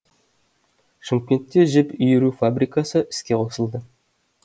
шымкентте жіп иіру фабрикасы іске қосылды